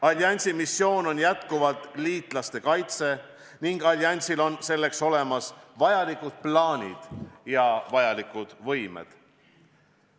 Alliansi missioon on jätkuvalt liitlaste kaitse ning alliansil on selleks olemas vajalikud plaanid ja võimed.